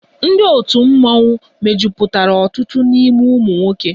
Ndị otu mmọnwụ mejupụtara ọtụtụ n'ime ụmụ nwoke